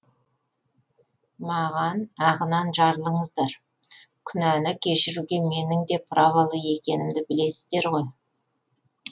маған ағынан жарылыңыздар күнәні кешіруге менің де праволы екенімді білесіздер ғой